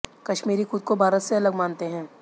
कश्मीरी खुद को भारत से अलग मानते हैं